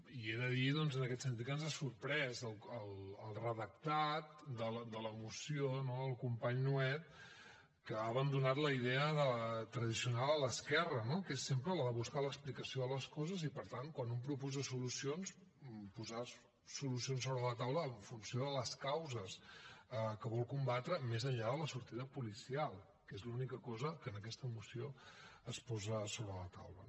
i he de dir doncs en aquest sentit que ens ha sorprès el redactat de la moció del company nuet que ha abandonat la idea tradicional a l’esquerra que és sempre la de buscar l’explicació de les coses i per tant quan un proposa solucions posar solucions sobre la taula en funció de les causes que vol combatre més enllà de la sortida policial que és l’única cosa que en aquesta moció es posa sobre la taula